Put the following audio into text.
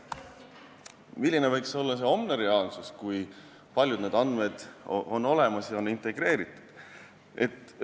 Milline võiks olla see homne reaalsus, kui paljud need andmed on olemas ja on integreeritud?